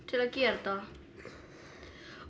til að gera þetta